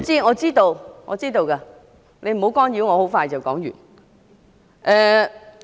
我知道，你不要干擾我，我很快就會說完。